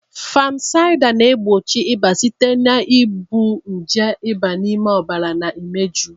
Fanusida na-egbochi ịba site na igbu nje ịba n'ime ọbara na imeju.